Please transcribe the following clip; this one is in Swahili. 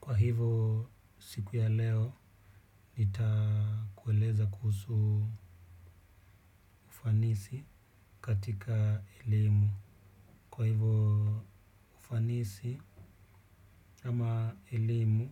Kwa hivyo, siku ya leo, nitakueleza kuhusu ufanisi katika elimu. Kwa hivyo, ufanisi ama elimu